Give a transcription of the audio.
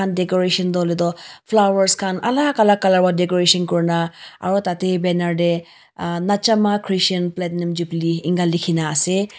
decoration tho hoile tho flowers kan alak alak color vra decoration kurna aro tate banner dae uhh nachama christian platinum jubilee enga likina ase.